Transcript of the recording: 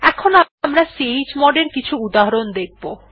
এখন আমরা chmod এর কিছু উদাহরণ দেখব